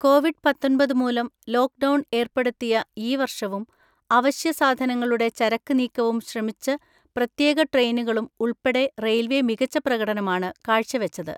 Covid പത്തൊൻപത് മൂലം lockdown ഏർപ്പെടുത്തിയ ഈ വർഷവും അവശ്യ സാധനങ്ങളുടെ ചരക്ക് നീക്കവും ശ്രമിച്ച് പ്രത്യേക ട്രെയിനുകളും ഉളൾപ്പെടെ റെയിൽവേ മികച്ച പ്രകടനമാണ് കാഴ്ച വച്ചത്.